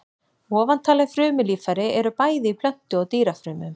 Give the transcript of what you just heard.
Ofantalin frumulíffæri eru bæði í plöntu- og dýrafrumum.